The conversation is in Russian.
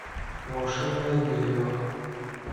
волшебное дерево